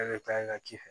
Ne bɛ taa n ka ci fɛ